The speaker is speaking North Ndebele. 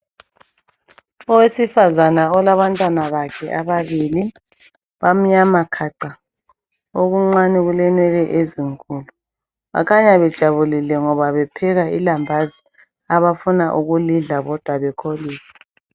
Owesifazana olabantwana bakhe ababili, bamnyama khaca, okuncane kulenwele ezinkulu. Bakhanya bejabulile ngoba bepheka ilambazi abafuna ukulidla bodwa bekholise.